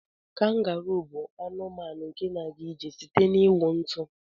Kangaruu bu anụmanụ nke na aga ijr site n'iwụ ntu.